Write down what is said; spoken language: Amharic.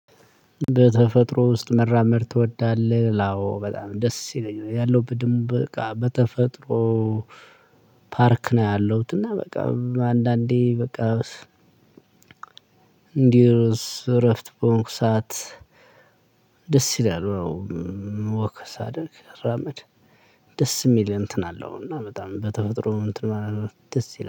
በተፈጥሮ ውስጥ መራመድ ትወዳለህ አዎ በጣም ደስ ይለኛል ያለው ብድም በቃ በተፈጥሮ ፓርክ ነው ያለሁት እና በቃ አንዳንዴ በቃ እንዲህ እረፍት በሆንኩ ሰዓት ደስ ይላል ዎክ ሳደርግ ስራመድ ደስ የሚል እንትን አለው እና በጣም በተፈጥሮ እንትን ማለት ደስ ይላል።